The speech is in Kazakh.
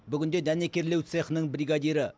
бүгінде дәнекерлеу цехының бригадирі